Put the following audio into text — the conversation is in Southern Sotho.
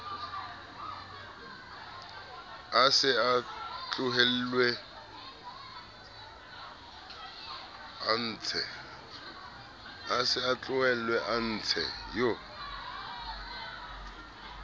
a se tlohellwe a ntshe